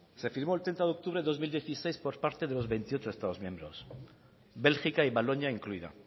se firmó el treinta de octubre del dos mil dieciséis por parte de los veintiocho estados miembros bélgica y valonia incluida